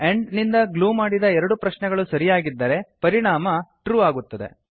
and ನಿಂದ glue ಮಾಡಿದ ಎರಡು ಪ್ರಶ್ನೆಗಳು ಸರಿಯಾಗಿದ್ದರೆ ಪರಿಣಾಮ ಟ್ರೂ ಆಗುತ್ತದೆ